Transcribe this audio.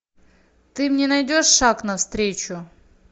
ты мне найдешь шаг навстречу